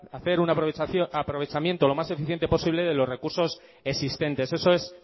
hacer un aprovechamiento lo más eficiente posible de los recursos existentes eso es